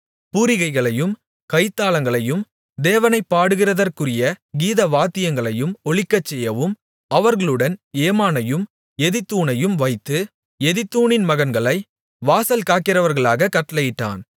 பூரிகைகளையும் கைத்தாளங்களையும் தேவனைப் பாடுகிறதற்குரிய கீதவாத்தியங்களையும் ஒலிக்கச்செய்யவும் அவர்களுடன் ஏமானையும் எதித்தூனையும் வைத்து எதித்தூனின் மகன்களை வாசல் காக்கிறவர்களாகக் கட்டளையிட்டான்